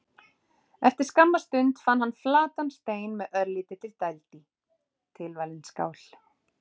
Eftir skamma stund fann hann flatan stein með örlítilli dæld í: tilvalin skál.